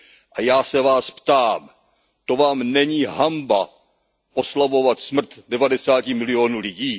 A já se vás ptám To vám není hanba oslavovat smrt devadesáti milionů lidí?